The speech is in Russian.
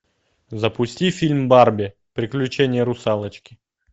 запусти фильм барби приключения русалочки